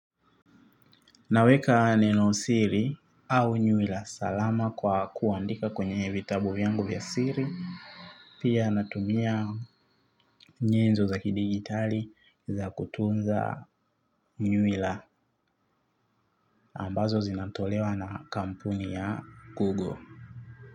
Naweka neno siri au nywila salama kwa kuandika kwenye vitabu vyangu vya siri. Pia natumia nyenzo za kidigitali za kutunza nywila. Ambazo zinatolewa na kampuni ya Google.